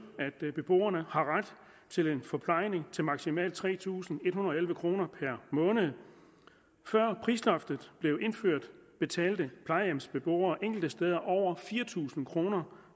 at beboerne har ret til en forplejning til maksimalt tre tusind en hundrede og elleve kroner per måned før prisloftet blev indført betalte plejehjemsbeboere enkelte steder over fire tusind kroner